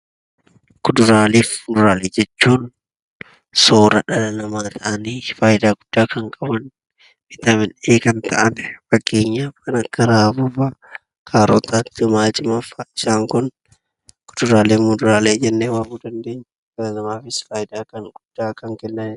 Kuduraalee fi Muduraalee jechuun storage dhala namaa ta'anii faayidaa guddaa kan qaban, viitaaminii A dha. Fakkeenyaaf kan akka raafuu fa'a, kaarota, timaatima fa'a. Isaan kun kuduraalee fi muduraalee jennee waamuu dandeenya, dhala namaafus faayidaa guddaa kan qabanidha.